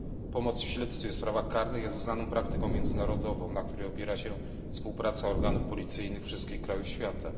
Pomoc w śledztwie w sprawach karnych jest uznaną praktyką międzynarodową, na której opiera się współpraca organów policyjnych wszystkich krajów świata.